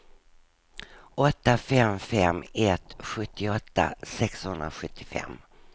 åtta fem fem ett sjuttioåtta sexhundrasjuttiofem